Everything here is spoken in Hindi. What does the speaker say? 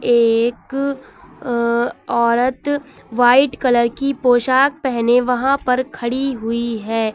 एक अह औरत व्हाइट कलर की पोशाक पहने वहां पर खड़ी हुई है।